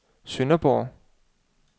Sønderborg